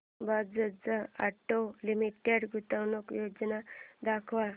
Bajaj auto limited गुंतवणूक योजना दाखव